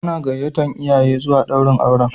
Ana gayyatar iyaye zuwa daurin auren.